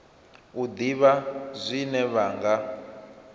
u ḓivha zwine vha nga